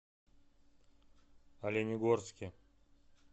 оленегорске